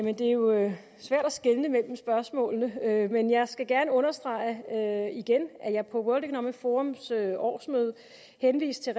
er jo svært at skelne mellem spørgsmålene men jeg skal gerne understrege igen at jeg på world economic forums årsmøde henviste